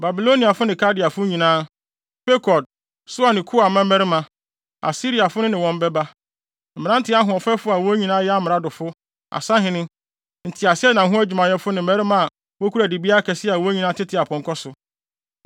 Babiloniafo ne Kaldeafo nyinaa, Pekod, Soa ne Koa mmarima, Asiriafo no ne wɔn bɛba, mmerante ahoɔfɛfo a wɔn nyinaa yɛ amradofo, asahene, nteaseɛnam ho adwumayɛfo ne mmarima a wokura dibea akɛse a wɔn nyinaa tete apɔnkɔ so.